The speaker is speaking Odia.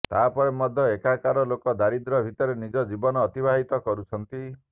ତାପରେ ମଧ୍ୟ ଏଠାକାର ଲୋକେ ଦାରିଦ୍ର୍ୟ ଭିତରେ ନିଜ ଜୀବନ ଅତିବାହିତ କରୁଛନ୍ତି